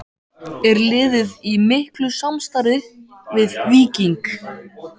Er liðið í miklu samstarfi við Víking?